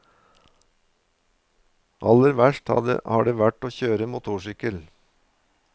Aller verst har det vært å kjøre motorsykkel.